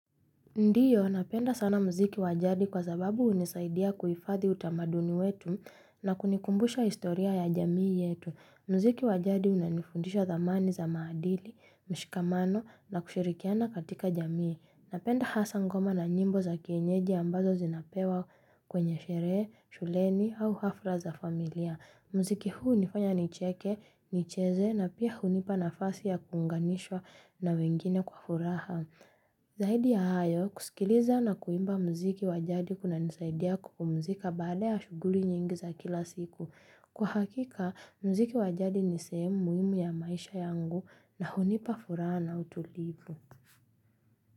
Ndiyo, napenda sana mziki wajadi kwa sababu unisaidia kuifadhi utamaduni wetu na kunikumbusha historia ya jamii yetu. Mziki wajadi unanifundisha dhamani za maadili, mshikamano na kushirikiana katika jamii. Napenda hasa ngoma na nyimbo za kienyeji ambazo zinapewa kwenye sherehe, shuleni au hafra za familia. Mziki huu hunifanya nicheke, nicheze na pia hunipa nafasi ya kuunganishwa na wengine kwa furaha. Zaidi ya hayo, kusikiliza na kuimba mziki wa jadi kunanisaidia kupumzika baada ya shuguli nyingi za kila siku. Kwa hakika, mziki wa jadi ni sehemu muhimu ya maisha yangu na hunipa furaha na utulivu.